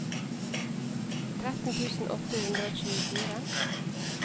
tretten tusen åtte hundre og tjuefire